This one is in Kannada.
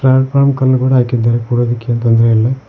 ಕಲ್ ಕೂಡ ಹಾಕಿದ್ದಾರೆ ಕೂಡೋದಕ್ಕೆ ಏನು ತೊಂದರೆ ಇಲ್ಲ.